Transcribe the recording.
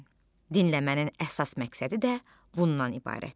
Dinləmənin əsas məqsədi də bundan ibarətdir.